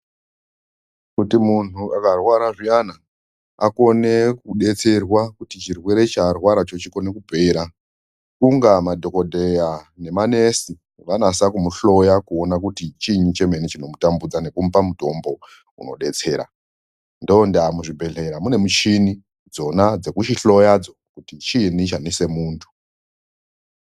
Kuti munhu akarwara zviyani akone kudetserwa kuti chirwere chaarwaracho chikone kupera kunga madhokodheya nemanesi vanasa kumuhloya kuona kuti chini chemene chinotambudza nekumupa mutombo unodetsera ndoonda muzvibhehlera mune mishini dzona dzekuchihloyadzo kuti chiini chanese muntu.